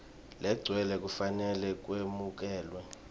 legcwele kufanele kwemukelwe